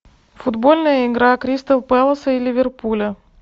футбольная игра кристал пэлас и ливерпуля